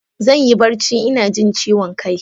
Zan yi barci ina jin ciwon kai.